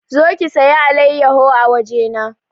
Zo ki saya alayyaho a waje na!